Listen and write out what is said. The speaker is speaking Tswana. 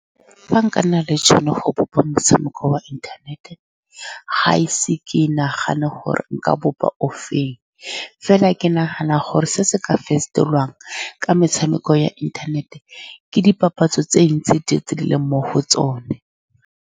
Fa nka nna le tšhono ya go bopa motshameko wa inthanete, ga ise ke nagane gore nka bopa o feng. Fela, ke nagana gore se se ka fetolwang ka metshameko ya inthanete ke dipapatso tse dintsi tse di leng mo go tsone.